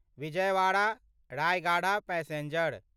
Vijayawada Rayagada passenger